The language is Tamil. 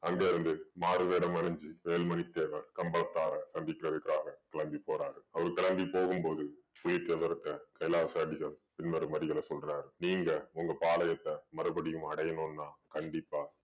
அங்க இருந்து மாறு வேடம் அணிஞ்சு வேலு மணி தேவர் கம்பளத்தாரரை சந்திக்கிறதுக்காக கிளம்பிபோறாரு. அவர் கிளம்பி போகும் போது புலித்தேவர் கிட்ட கைலாச அடிகள் சொல்றாரு. நீங்க உங்க பாளையத்தை மறுபடியும் அடையணும்னா கண்டிப்பா